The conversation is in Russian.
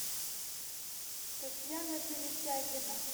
татьяна перетягина